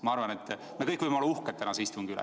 Ma arvan, et me kõik võime olla uhked tänase istungi üle.